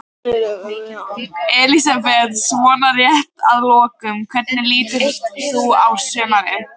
Elísabet: Svona rétt að lokum, hvernig lítur þú á sumarið?